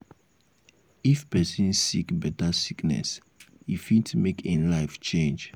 if person sick better sickness e fit make im life change